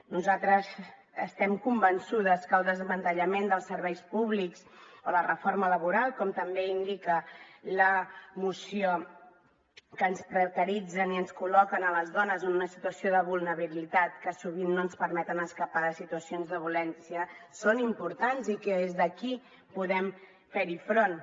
nosaltres estem convençudes que el desmantellament dels serveis públics o la reforma laboral com també indica la moció que ens precaritzen i ens col·loquen a les dones en una situació de vulnerabilitat que sovint no ens permet escapar de situacions de violència són importants i que des d’aquí podem fer hi front